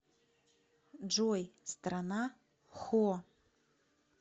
джой страна хо